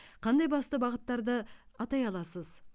қандай басты бағыттарды атай аласыз